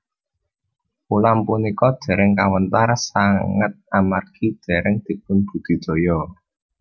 Ulam punika dèrèng kawéntar sanget amargi dèrèng dipunbudidaya